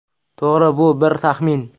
To‘g‘ri, bu bir taxmin.